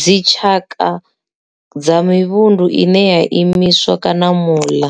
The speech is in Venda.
Dzi tshaka dza mivhundu ine ya imiswa kana mula